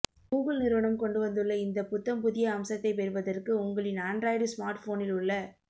Google நிறுவனம் கொண்டுவந்துள்ள இந்த புத்தம் புதிய அம்சத்தை பெறுவதற்கு உங்களின் ஆண்ட்ராய்டு ஸ்மார்ட்போனில் உள்ள